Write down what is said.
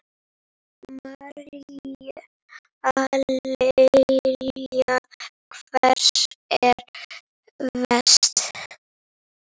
María Lilja: Hvar er verst?